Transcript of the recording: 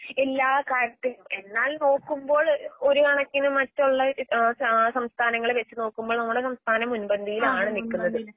എല്ലാകാര്യത്തിൻ എന്നാലിനോക്കുമ്പോൾ ഒര്കണക്കിനുമറ്റുള്ള ആഹ്സ സംസ്ഥാങ്ങളെവെച്ചുനോക്കുമ്പോൾ നമ്മുടെസംസ്ഥാനം മുൻപന്തിയിലാണ്നിക്കുന്നത്.